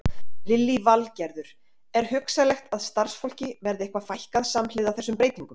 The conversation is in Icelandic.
Lillý Valgerður: Er hugsanlegt að starfsfólki verði eitthvað fækkað samhliða þessum breytingum?